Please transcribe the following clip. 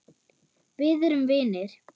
Við erum vinir.